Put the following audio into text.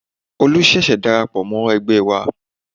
Olu ṣẹ̀ṣẹ̀ darapọ̀ mọ́ ẹgbẹ́ wa